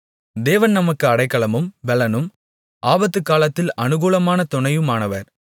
தேவன் நமக்கு அடைக்கலமும் பெலனும் ஆபத்துக்காலத்தில் அனுகூலமான துணையுமானவர்